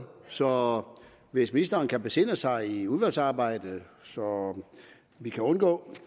så hvis ministeren kan besinde sig i udvalgsarbejdet så vi kan undgå